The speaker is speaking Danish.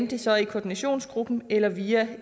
det så er i koordinationsgruppen eller via